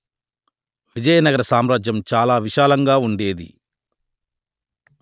విజయనగర సామ్రాజ్యం చాలా విశాలంగా ఉండేది